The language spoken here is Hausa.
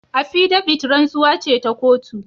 Appidavit rantsuwa ce ta kotu.